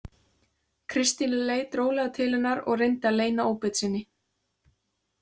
Kristín leit rólega til hennar og reyndi að leyna óbeit sinni.